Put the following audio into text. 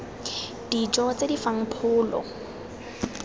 dijo tse di fang pholo